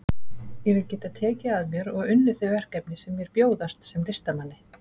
Ég vil geta tekið að mér og unnið þau verkefni sem mér bjóðast sem listamanni.